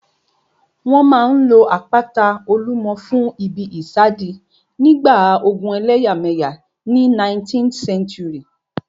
Wọ́n máa n lo àpáta Olúmọ fún ìbí ìsádi nígbà ogun ẹlẹ́yàmẹ̀yà ní 19th century